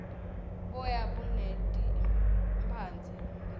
boya buneti mphandze nqekhatsi